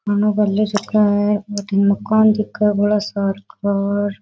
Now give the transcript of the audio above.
मकान दिखे बोला सार का र --